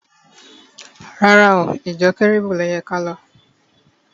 Rárá o, ìjọ Kẹ́rúbù ló yẹ kí á lọ.